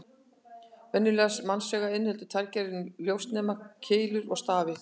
Venjulegt mannsauga inniheldur tvær gerðir ljósnema: Keilur og stafi.